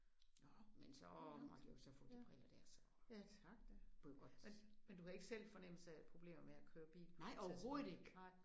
Ja det var lang tid. Ja ja tak da. Men men du havde ikke selv en fornemmelse af problemer med at køre bil på et tidspunkt? Nej